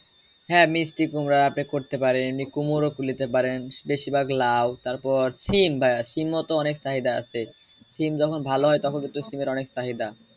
হ্যাঁ মিষ্টি কুমড়া আপনি করতে পারেন কুমড়ো নিতে পারেন বেশির ভাগ লাউ তার পর সিম বা সিমো তো অনেক চাহিদা আছে সিম যখন ভালো হয় তখন সিমের অনেক চাহিদা।